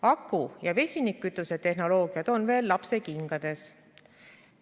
Aku- ja vesinikkütuse tehnoloogiad on veel lapsekingades.